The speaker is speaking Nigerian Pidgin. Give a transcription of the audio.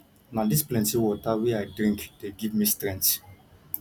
na dis plenty water wey i dey drink dey give me strength